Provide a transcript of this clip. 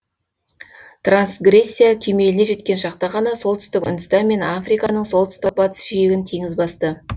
трансгрессия кемеліне жеткен шақта ғана солтүстік үндістан мен африканың солтүстік батыс жиегін теңіз басты